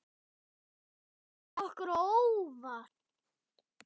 Þeir komu okkur á óvart.